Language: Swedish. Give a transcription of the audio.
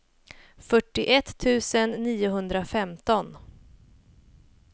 fyrtioett tusen niohundrafemton